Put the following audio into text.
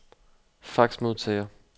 faxmodtager